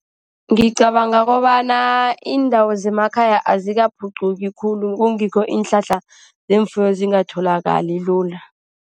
Ngicabanga kobana iindawo zemakhaya azikaphuquki khulu, kungikho iinhlahla zeemfuyo zingatholakali lula.